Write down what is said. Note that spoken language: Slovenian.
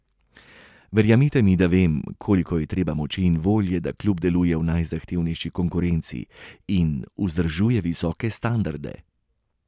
Verjemite mi, da vem, koliko je treba moči in volje, da klub deluje v najzahtevnejši konkurenci in vzdržuje visoke standarde.